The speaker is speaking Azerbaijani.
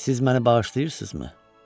Siz məni bağışlayırsınızmı?